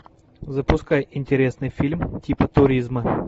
запускай интересный фильм типа туризма